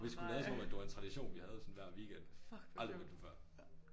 Og vi skulle lade som om at det var en tradition vi havde sådan hver weekend. Aldrig mødt dem før